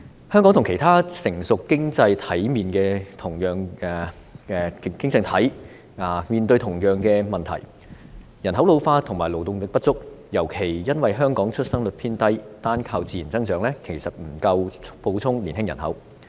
香港和其他成熟經濟體面對同樣問題，便是人口老化和勞動力不足，尤其因為香港的出生率偏低，單靠自然增長，其實不足以補充年青人口。